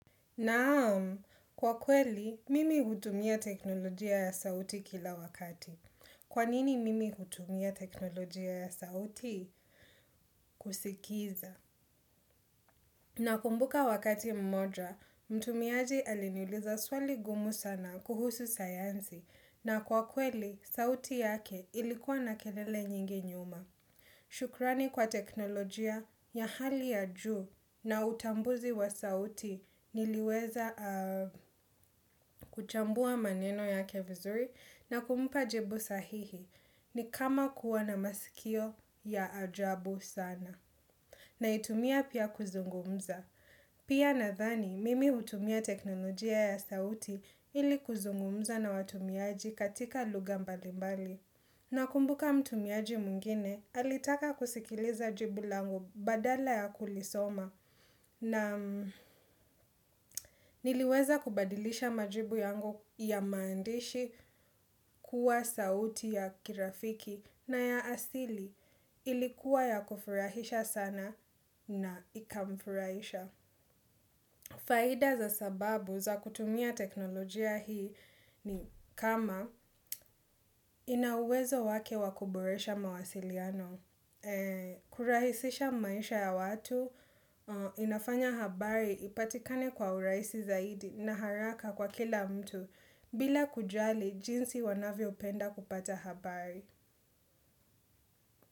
Naam kwa kweli, mimi hutumia teknolojia ya sauti kila wakati. Kwa nini mimi hutumia teknolojia ya sauti? Kusikiza. Nakumbuka wakati mmoja, mtumiaji aliniuliza swali gumu sana kuhusu sayanzi na kwa kweli, sauti yake ilikuwa na kelele nyingi nyuma. Shukrani kwa teknolojia ya hali ya juu na utambuzi wa sauti niliweza kuchambua maneno yake vizuri na kumpa jibu sahihi ni kama kuwa na masikio ya ajabu sana. Naitumia pia kuzungumza. Pia nadhani, mimi hutumia teknolojia ya sauti ili kuzungumza na watumiaji katika lugha mbalimbali. Nakumbuka mtumiaji mwingine, alitaka kusikiliza jibu langu badala ya kulisoma na niliweza kubadilisha majibu yangu ya maandishi kuwa sauti ya kirafiki na ya asili ilikuwa ya kufurahisha sana na ikamfurahisha. Faida za sababu za kutumia teknolojia hii ni kama ina uwezo wake wa kuboresha mawasiliano, kurahisisha maisha ya watu, inafanya habari ipatikane kwa uraisi zaidi na haraka kwa kila mtu bila kujali jinsi wanavyo penda kupata habari.